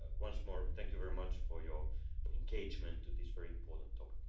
So once more, thank you very much for your engagement on this very important topic.